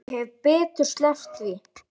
Ég hefði betur sleppt því.